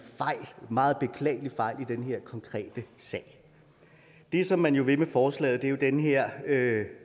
meget beklagelig fejl i den her konkrete sag det som man jo vil med forslaget er den her